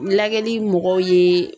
Lagɛli mɔgɔw ye